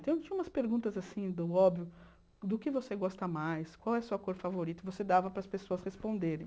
Então, tinha umas perguntas assim, do óbvio, do que você gosta mais, qual é a sua cor favorita, você dava para as pessoas responderem.